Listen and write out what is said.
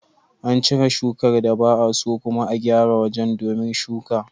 Ana cire shukar da ba'a so, kuma a gyara wajen domin shuka.